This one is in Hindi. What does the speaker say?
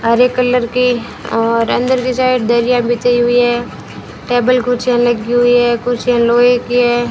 हरे कलर की और अंदर की साइड दरिया बिछी हुई हैं टेबल कुर्चिया लगी हुई है कुर्चिया लोहे की हैं।